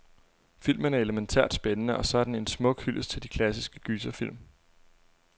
Filmen er elemæntært spændende, og så er den en smuk hyldest til de klassiske gyserfilm.